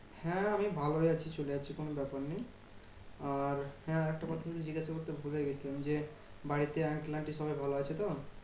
হ্যাঁ আমি ভালোই আছি চলে যাচ্ছে কোনো ব্যাপার নেই। আর হ্যাঁ একটা কথা জিজ্ঞেস করতে ভুলেই গেছিলাম যে, বাড়িতে uncle aunty সবাই ভালো আছে তো?